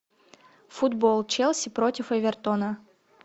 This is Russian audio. футбол челси против эвертона